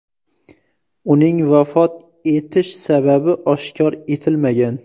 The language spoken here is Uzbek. Uning vafot etish sababi oshkor etilmagan.